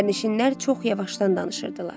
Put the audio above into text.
Sərnişinlər çox yavaşdan danışırdılar.